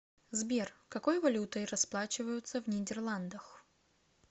сбер какой валютой расплачиваются в нидерландах